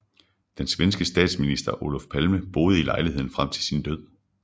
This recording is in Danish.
Den svenske statsminister Olof Palme boede i lejligheden frem til sin død